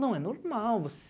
Não, é normal.